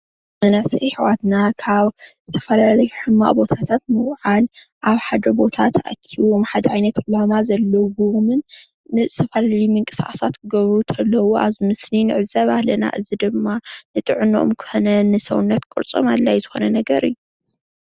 መናእስይ አሕዋትና ካብ ዝተፈላለዩ ሕማቕ ቦታታት ብምውዓል አብ ሓደ ቦታ ተአኪቦም ሓደ ዓይነት ዕላማ ዘለዎምን ንዝተፈላለየ ምንቅስቃሳት ክገብሩ እንተለው አብዚ ምስሊ ንዕዘብ አለና እዚ ድማ ንጥዕኖኦም ኮነ ንሰውነት ቅርፂም አድላ ዪ ዝኾነ ነገር እዩ፡፡